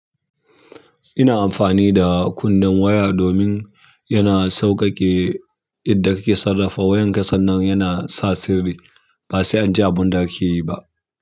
Ina amfani da kunnin waya domin yana sauƙaƙe yada kake sarafa wayar ka sannan yana sa sirri ba sai an ji abun da ake yi ba.